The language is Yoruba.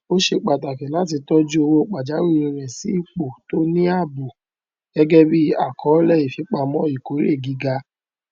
ó ṣe pàtàkì láti tọju owó pajàwìrí rẹ sí ipo tó ní ààbò gẹgẹ bí àkọọlẹ ìfipamọ ìkórè gíga